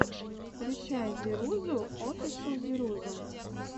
включай зирузу офишл зирузу